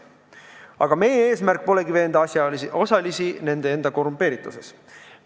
Aga meie eesmärk polegi veenda asjaosalisi nende enda korrumpeerituses.